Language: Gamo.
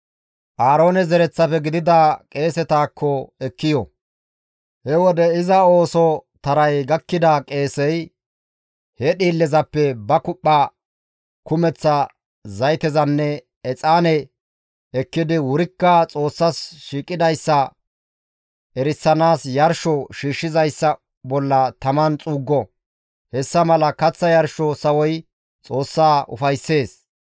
Aaroone zereththafe gidida qeesetakko ekki yo; he wode iza ooso taray gakkida qeesey he dhiillezappe ba kuphpha kumeththa zaytezanne exaaneza ekkidi wurikka Xoossas shiiqidayssa erisanaas yarsho shiishshizayssa bolla taman xuuggo; hessa mala kaththa yarsho sawoy Xoossaa ufayssees.